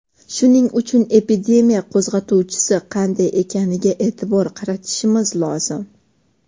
Shuning uchun epidemiya qo‘zg‘atuvchisi qanday ekaniga e’tibor qaratish lozim.